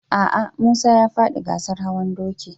A'a, Musa ya faɗi gasar hawan doki.